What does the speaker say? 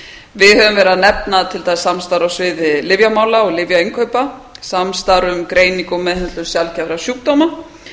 við höfum verið að nefna til dæmis samstarf okkar á sviði lyfjamála og lyfjainnkaupa samstarf um greiningu og meðhöndlun sjaldgæfra sjúkdóma